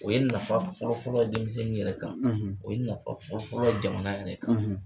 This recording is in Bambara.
O ye nafa fɔlɔ-fɔlɔ ye denmisɛnnin yɛrɛ kan o ye nafa fɔlɔ-fɔlɔ jamana yɛrɛ kan